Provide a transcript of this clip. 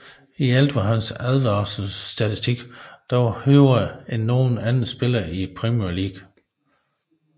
I alt var hans advarselsstatistik dog højere end nogen anden spiller i Premier League